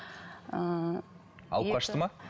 ыыы алып қашты ма